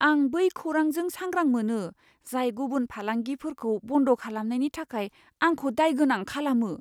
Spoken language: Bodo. आं बै खौरांजों सांग्रां मोनो, जाय गुबुन फालांगिफोरखौ बन्द खालामनायनि थाखाय आंखौ दायगोनां खालामो।